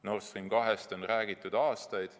Nord Stream 2 on räägitud aastaid.